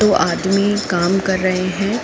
दो आदमी काम कर रहे हैं।